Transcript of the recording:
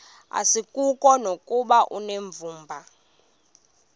asikuko nokuba unevumba